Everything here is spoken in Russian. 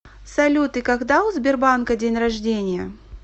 салют и когда у сбербанка день рождения